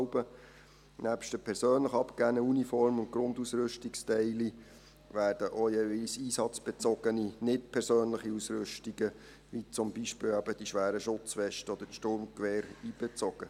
Nebst den persönlich abgegebenen Uniform- und Grundausrüstungsteilen werden auch jeweils einsatzbezogene, nicht persönliche Ausrüstungen, wie zum Beispiel eben die schweren Schutzwesten oder das Sturmgewehr, einbezogen.